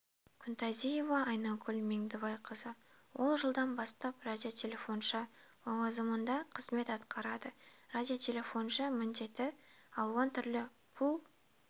күнтазиева айнагүл меңдібайқызы ол жылдан бастап радиотелефоншы лауазымында қызмет атқарады радиотелефоншы міндеті алуан түрлі бұл